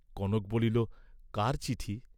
কনক বলিল কার চিঠি?